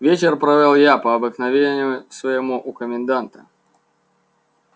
вечер провёл я по обыкновению своему у коменданта